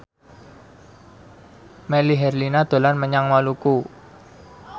Melly Herlina dolan menyang Maluku